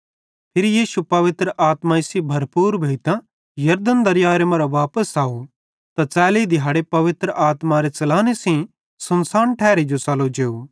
फिरी यीशु पवित्र आत्मा सेइं भरपूर भोइतां यरदन दरियाए मरां वापस अव त च़ैली दिहाड़े पवित्र आत्मारे च़लाने सेइं सुनसान ठैरी जो च़लो जेव